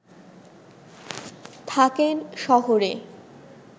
থাকেন শহরে